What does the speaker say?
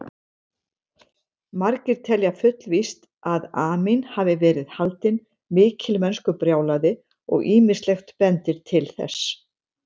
Margir telja fullvíst að Amín hafi verið haldinn mikilmennskubrjálæði og ýmislegt bendir til þess.